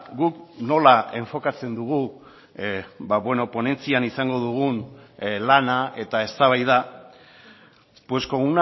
guk nola enfokatzen dugu ba beno ponentzian izango dugun lana eta eztabaida pues con